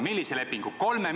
Millise lepingu?